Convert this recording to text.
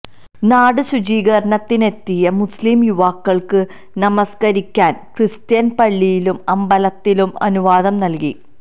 നാട് ശുചീകരണത്തിന്നെത്തിയ മുസ്ലിം യുവാക്കള്ക്ക് നമസ്കരിക്കാന് ക്രിസ്ത്യന് പള്ളിയിലും അമ്പലത്തിലും അനുവാദം നല്കി